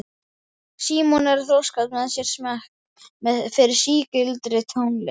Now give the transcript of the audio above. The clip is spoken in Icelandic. Símon er að þroska með sér smekk fyrir sígildri tónlist.